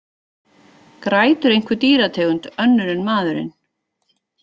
Grætur einhver dýrategund, önnur en maðurinn?